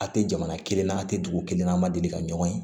A tɛ jamana kelen na a tɛ dugu kelen na a ma deli ka ɲɔgɔn ye